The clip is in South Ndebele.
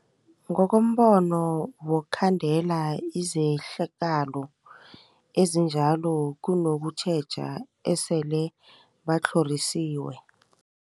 Ngokombono wokukhandela izehlakalo ezinjalo kunokutjheja esele batlhorisiwe.